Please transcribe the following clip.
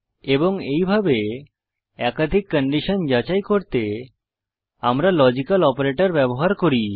এবং এইভাবে একাধিক কন্ডিশন যাচাই করতে আমরা লজিক্যাল অপারেটর ব্যবহার করি